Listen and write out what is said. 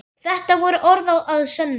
Þetta voru orð að sönnu.